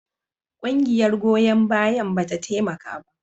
Ƙungiyar goyon bayan ba ta taimaka ba.